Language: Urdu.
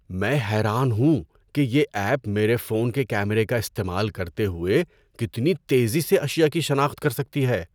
میں حیران ہوں کہ یہ ایپ میرے فون کے کیمرے کا استعمال کرتے ہوئے کتنی تیزی سے اشیاء کی شناخت کر سکتی ہے۔